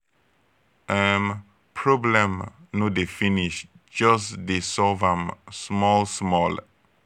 um problem no dey finish jus dey solve am small small